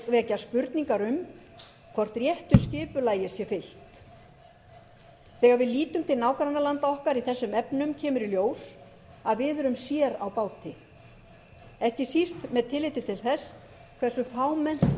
vekur spurningar um hvort réttu skipulagi sé fylgt þegar við lítum til nágrannalanda okkar í þessum efnum kemur í ljós að við erum sér á báti ekki síst með tilliti til þess hversu fámennt alþingi er í